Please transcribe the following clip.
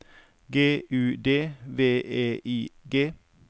G U D V E I G